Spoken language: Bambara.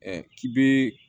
k'i bɛ